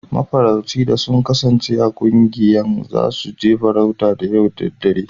Mafarauci da sun kasance a ƙungiyan, za su je farauta yau da dare.